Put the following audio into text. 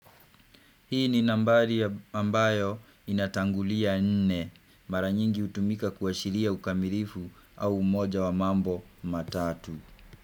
Hii ni nambari ambayo inatangulia nne mara nyingi hutumika kuashiria ukamilifu au umoja wa mambo matatu.